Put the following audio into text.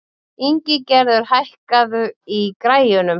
Ingigerður, hækkaðu í græjunum.